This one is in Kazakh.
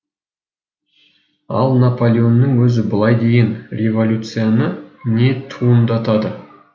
ал наполеонның өзі былай деген революцияны не туындатады